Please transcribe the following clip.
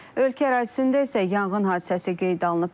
Ölkə ərazisində isə yanğın hadisəsi qeyd olunub.